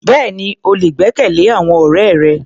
Bẹ́ẹ̀ni, o lè gbẹ́kẹ̀lé àwọn ọ̀rẹ́ rẹ.